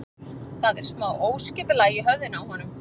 Það er smá óskipulag í höfðinu á honum.